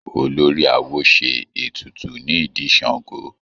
Olórí awo ṣe ètùtù ní ìdí Ṣàngó.